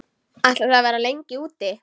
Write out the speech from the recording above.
Ætlarðu að vera lengi úti?